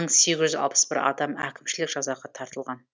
мың сегіз жүз алпыс бір адам әкімшілік жазаға тартылған